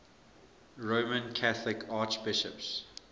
roman catholic archbishops